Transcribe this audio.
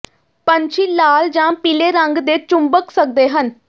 ਪੰਛੀ ਲਾਲ ਜਾਂ ਪੀਲੇ ਰੰਗ ਦੇ ਚੁੰਬਕ ਸਕਦੇ ਹਨ